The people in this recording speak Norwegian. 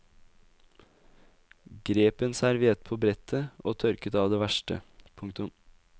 Grep en serviett på brettet og tørket av det verste. punktum